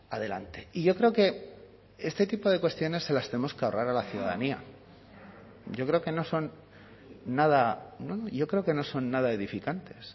adelante y yo creo que este tipo de cuestiones se las tenemos que ahorrar a la ciudadanía yo creo que no son nada yo creo que no son nada edificantes